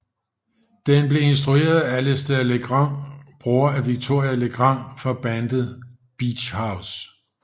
Den blev instrueret af Alistair Legrand bror af Victoria Legrand fra bandet Beach House